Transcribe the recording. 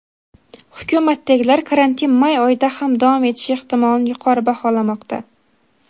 Hukumatdagilar karantin may oyida ham davom etishi ehtimolini yuqori baholamoqda.